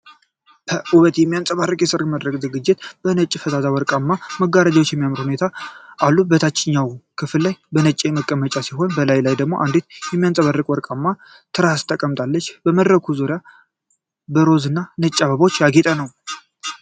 ፐ ውበት የሚንጸባረቅበት የሠርግ መድረክ ዝግጅት። ነጭና ፈዛዛ ወርቃማ መጋረጃዎች በሚያምር ሁኔታ አሉ። በታችኛው ክፍል ላይ ነጭ መቀመጫ ሲሆን፣ በላዩ ላይ አንዲት የሚያብረቀርቅ ወርቃማ ትራስ ተቀምጣለች። የመድረኩ ዙሪያ በሮዝና ነጭ አበባዎች ያጌጠ ነው።